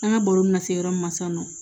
An ka baro bɛna se yɔrɔ min ma sisan nɔ